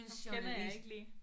Ham kender jeg ikke lige